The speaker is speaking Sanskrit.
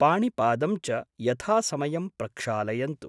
पाणिपादं च यथासमयं प्रक्षालयन्तु।